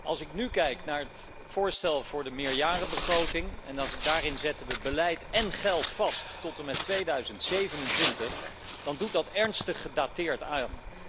Als ik kijk naar het voorstel voor de meerjarenbegroting en zie dat we daarin beleid en geld vastleggen tot en met 2027, dan doet dat ernstig gedateerd aan.